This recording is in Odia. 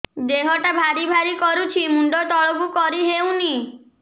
ଦେହଟା ଭାରି ଭାରି କରୁଛି ମୁଣ୍ଡ ତଳକୁ କରି ହେଉନି